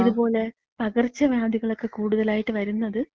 ഇത്പോലെ പകർച്ച വ്യാധികളക്ക കൂടുതലായിട്ട് വര്ന്നത്,